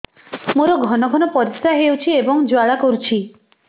ମୋର ଘନ ଘନ ପରିଶ୍ରା ହେଉଛି ଏବଂ ଜ୍ୱାଳା କରୁଛି